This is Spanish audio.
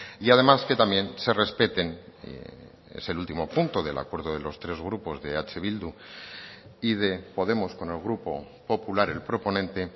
y además que también se respeten es el último punto del acuerdo de los tres grupos de eh bildu y de podemos con el grupo popular el proponente